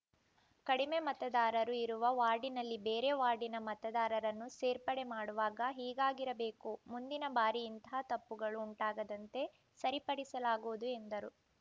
ಕಡಿಮೆ ಮತದಾರರು ಇರುವ ವಾರ್ಡಿನಲ್ಲಿ ಬೇರೆ ವಾರ್ಡಿನ ಮತದಾರರನ್ನು ಸೇರ್ಪಡೆ ಮಾಡುವಾಗ ಹೀಗಾಗಿರಬೇಕು ಮುಂದಿನ ಬಾರಿ ಇಂತಹ ತಪ್ಪುಗಳು ಉಂಟಾಗದಂತೆ ಸರಿಪಡಿಸಲಾಗುವುದು ಎಂದರು